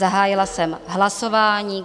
Zahájila jsem hlasování.